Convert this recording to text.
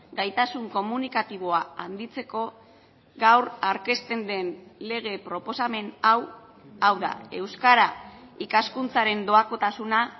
gaitasun komunikatiboa handitzeko gaur aurkezten den lege proposamen hau hau da euskara ikaskuntzaren doakotasuna